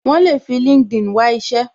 Wọn le fi LinkedIn wá isẹ